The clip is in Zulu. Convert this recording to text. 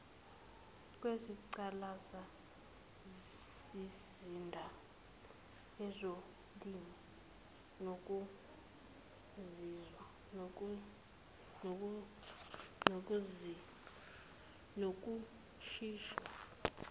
kwezingqalasizinda ezolimo nokushintshwa